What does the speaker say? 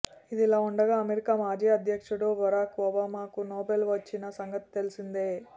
ఇదిలా ఉండగా అమెరికా మాజీ అధ్యక్షడు బరాక్ ఒబామాకు నోబెల్ వచ్చిన సంగతి తెలిసిందే